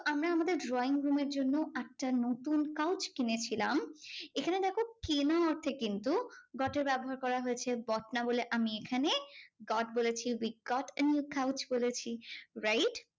আমরা আমাদের drawing room এর জন্য একটা নতুন couch কিনেছিলাম। এখানে দেখো কেনা অর্থে কিন্তু got এর ব্যবহার করা হয়েছে got না বলে আমি এখানে got বলেছি we got a new couch বলেছি wright?